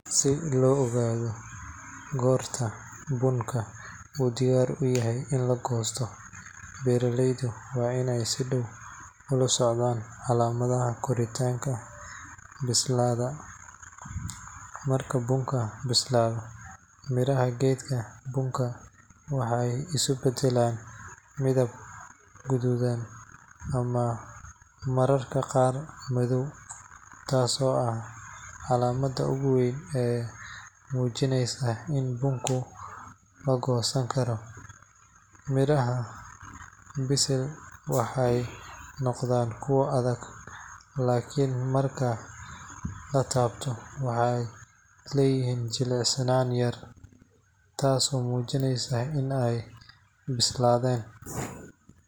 Si loo ogaado goorta bunka uu diyaar u yahay in la goosto, beeraleydu waa inay si dhow ula socdaan calaamadaha koritaanka bislaada. Marka bunka bislaado, midhaha geedka bunka waxay isu beddelaan midab guduudan ama mararka qaar madow, taas oo ah calaamadda ugu weyn ee muujinaysa in bunka la goosan karo. Midhaha bisil waxay noqonayaan kuwo adag, laakiin marka la taabto waxay leeyihiin jilicsanaan yar, taasoo muujinaysa in ay bislaadeen.